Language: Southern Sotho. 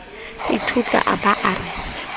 ithutla a ba a re